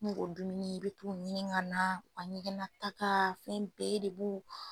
Mo k'o dumuni i be taa ɲinin ŋa naa, u ka ɲɛgɛnnataka fɛn bɛɛ de b'o